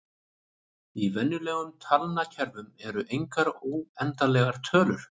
Í venjulegum talnakerfum eru engar óendanlegar tölur.